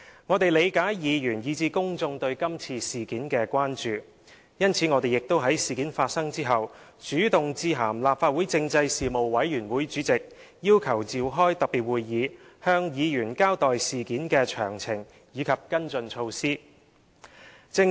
我們理解議員以至公眾對這次事件的關注，因此我們亦在事件發生後主動致函立法會政制事務委員會主席，要求召開特別會議，向議員交代事件的詳情及跟進措施。